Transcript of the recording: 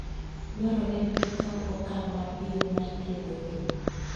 Dwarore ni gikaw okang' mapiyo mar thiedhogi.